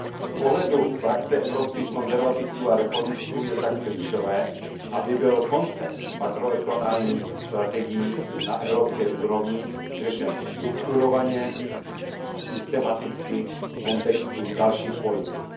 Z pohledu frakce Evropských konzervativců a reformistů je tak klíčové, aby byl koncept makroregionálních strategií na evropské úrovni řešen strukturovaně a systematicky v kontextu dalších politik.